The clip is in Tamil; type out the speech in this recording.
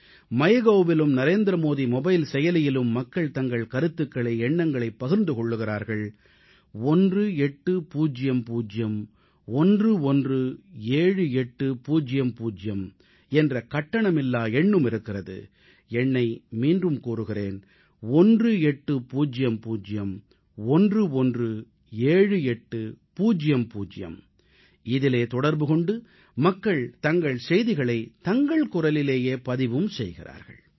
MyGovஇலும் நரேந்திரமோடி மொபைல் செயலியிலும் மக்கள் தங்கள் கருத்துகளை எண்ணங்களைப் பகிர்ந்து கொள்கிறார்கள் 1800117800 என்ற கட்டணமில்லா எண்ணும் இருக்கிறது இதில் தொடர்பு கொண்டு மக்கள் தங்கள் செய்திகளைத் தங்கள் குரலிலேயே பதிவும் செய்கிறார்கள்